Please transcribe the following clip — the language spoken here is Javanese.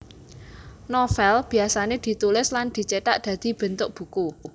Novèl biyasané ditulis lan dicithak dadi bentuk buku